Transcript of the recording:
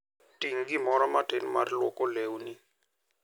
Ting' gimoro matin mar lwoko lewni.